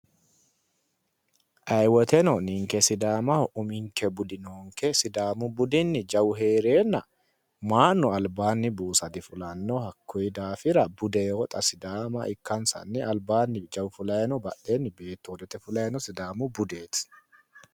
ayi woyiiteno ninke sidaamaho uminke budi noonke sidaamu budini jawu heereenna maa'nu albaani buusa difulanno hakkuyi daafira budeho xa sidaama ikkansanni alabaanni jawu fulayi badhee beettu hoodete fulayi sidaamu budeeti